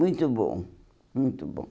Muito bom, muito bom.